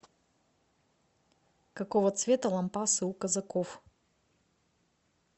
какого цвета лампасы у казаков